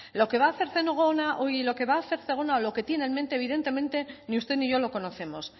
lo que va hacer zegona o lo que tiene en mente evidentemente ni usted ni yo lo conocemos